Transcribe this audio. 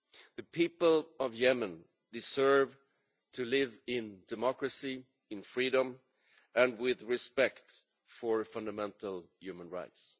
The people of Yemen deserve to live in democracy, in freedom and with respect for fundamental human rights.